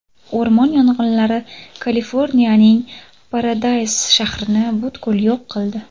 O‘rmon yong‘inlari Kaliforniyaning Paradays shahrini butkul yo‘q qildi.